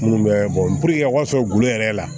Minnu bɛ bɔ a ka sɔrɔ gulo yɛrɛ la